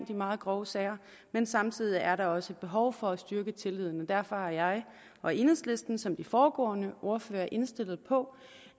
de meget grove sager men samtidig er der også et behov for at styrke tilliden derfor er jeg og enhedslisten som de foregående ordførere indstillet på